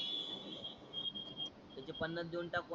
त्याचे पन्नास देऊन टाकू आता